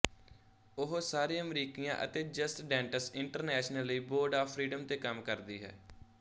ਉਹ ਸਾਰੇ ਅਮਰੀਕੀਆਂ ਅਤੇ ਜਸਟ ਡੈਂਟੈਂਸ ਇੰਟਰਨੈਸ਼ਨਲ ਲਈ ਬੋਰਡ ਆਫ ਫ੍ਰੀਡਮ ਤੇ ਕੰਮ ਕਰਦੀ ਹੈ